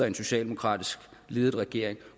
en socialdemokratisk ledet regering